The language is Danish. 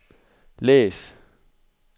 læs